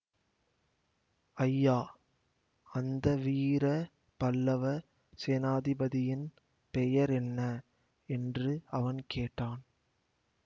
ஐயா அந்த வீர பல்லவ சேனாதிபதியின் பெயர் என்ன என்று அவன் கேட்டான்